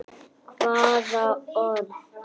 Hvaða orð?